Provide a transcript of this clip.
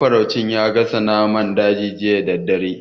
Mafaraucin ya gasa naman daji jiya da daddare.